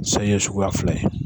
San ye suguya fila ye